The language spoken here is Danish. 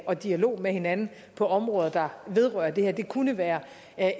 og dialog med hinanden på områder der vedrører det her det kunne være